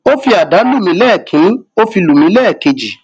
ó fi àdá lù mí lẹẹkìnní ó fi lù mí lẹẹkejì